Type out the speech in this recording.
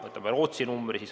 Võtame Rootsi numbrid.